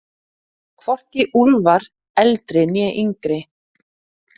Hvorki Úlfar eldri né yngri.